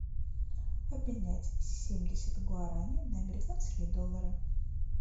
обменять семьдесят гуарани на американские доллары